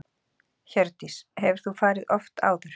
Hjördís: Hefur þú farið oft áður?